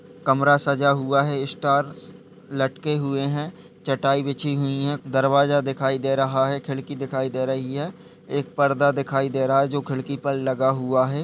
कमरा सजा हुआ है। स्टार्स लटके हुए हैं। चटाई बिछी हुई है। दरवाजा दिखाई दे रहा है। खिड़की दिखाई दे रही है। एक पर्दा दिखाई दे रहा है जो खिड़की पर लगा हुआ है।